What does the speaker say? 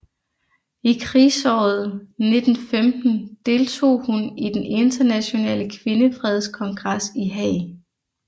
I krigsåret 1915 deltog hun i den internationale kvindefredskongres i Haag